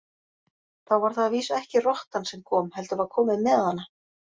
Þá var það að vísu ekki rottan sem kom, heldur var komið með hana.